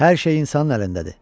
Hər şey insanın əlindədir.